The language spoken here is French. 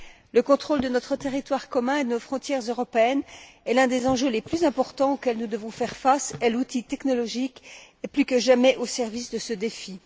Le contrôle de notre territoire commun et de nos frontières européennes est l'un des enjeux les plus importants auxquels nous devons faire face, et l'outil technologique est plus que jamais au service de ce défi.